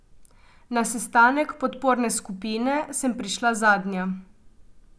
Na sestanek podporne skupine sem prišla zadnja.